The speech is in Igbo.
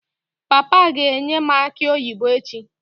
Papa ga-enye m aki oyibo echi